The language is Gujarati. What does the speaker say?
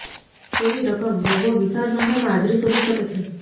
તેની રકમ રોગો વિશાળ સંખ્યામાં હાજરી શોધી શકે છે